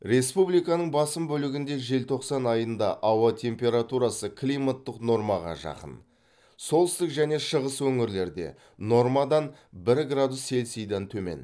республиканың басым бөлігінде желтоқсан айында ауа температурасы климаттық нормаға жақын солтүстік және шығыс өңірлерде нормадан бір градус цельсийден төмен